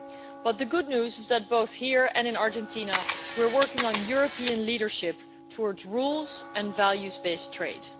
But the good news is that both here and in Argentina we are working on European leadership towards rule and value based trade.